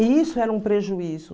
E isso era um prejuízo.